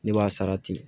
Ne b'a sara ten